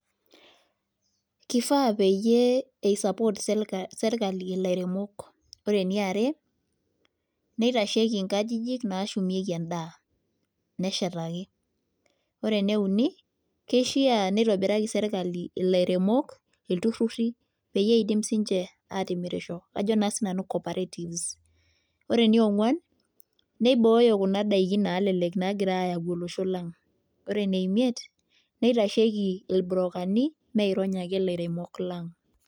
Kifaa peyie isupport serka serkali ilairemok, ore eniare neitasheki inkajijik naashumieki endaa neshetaki. Ore ene uni kishia neitobiraki serkali ilairemok iltururi peyie iidim siinche aatimirisho ajo naa sinanu cooperatives. Ore enionkuan neibooyo kuna daikin naalelek naagirai aayau olosho lang'. Ore ene imiet neitasheki irbrokani meirony ake ilairemok lang'.